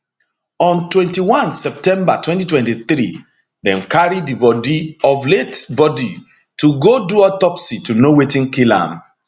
on 21 september 2023 dem carry di body of late body to go do autopsy to know wetin kill am